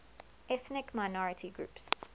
ethnic minority groups